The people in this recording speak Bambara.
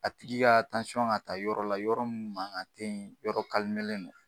A tigi ka ka ta yɔrɔ la, yɔrɔ min mankan te yen, yɔrɔ de don